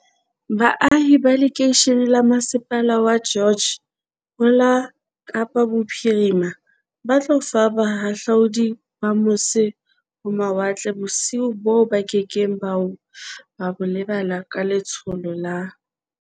Baahi ba lekeishene la masepala wa George ho la Kapa Bophiri ma ba tlo fa bahahlaudi ba mose-ho-mawatle bosiu boo ba ke keng ba bo lebala ka le tsholo la